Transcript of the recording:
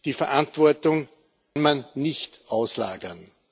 Die Verantwortung kann man nicht auslagern.